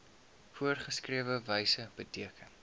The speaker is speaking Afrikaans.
voorgeskrewe wyse beteken